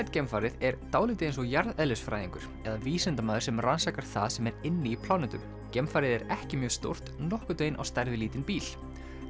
geimfarið er dálítið eins og jarðeðlisfræðingur eða vísindamaður sem rannsakar það sem er inni í plánetum geimfarið er ekki mjög stórt nokkurn veginn á stærð við lítinn bíl